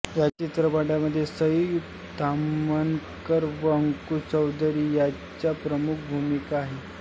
ह्या चित्रपटामध्ये सई ताम्हनकर व अंकुश चौधरी ह्यांच्या प्रमुख भूमिका आहेत